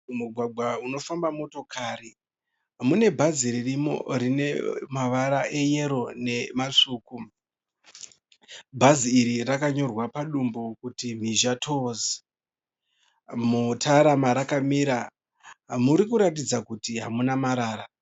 Mumugwagwa unofamba motokari mune bhazi ririmo rine mavara eyero nematsvuku. Bhazi iri rakanyorwa padumbu kuti Mhizha Tours. Mutara marakamira muri kuratidza kuti hamuna marara.